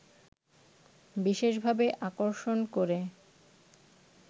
বিশেষভাবে আকর্ষণ করে